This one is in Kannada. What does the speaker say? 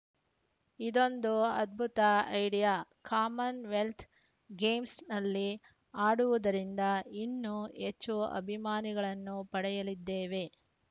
ಇದೊಂದು ಅದ್ಭುತ ಐಡಿಯಾ ಕಾಮನ್‌ವೆಲ್ತ್‌ ಗೇಮ್ಸ್‌ನಲ್ಲಿ ಆಡುವುದರಿಂದ ಇನ್ನೂ ಹೆಚ್ಚು ಅಭಿಮಾನಿಗಳನ್ನು ಪಡೆಯಲಿದ್ದೇವೆ